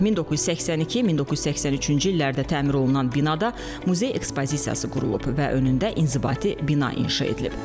1982-1983-cü illərdə təmir olunan binada muzey ekspozisiyası qurulub və önündə inzibati bina inşa edilib.